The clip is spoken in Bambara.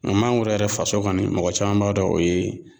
mɛ mangoro yɛrɛ faso kɔni mɔgɔ caman b'a dɔn o ye